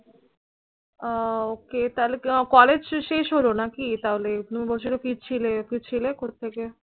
আহ Okay তালে college শেষ হল নাকি তাহলে তুমি বলছিলে ফিরছিলে। ফিরছিলে কোথেকে?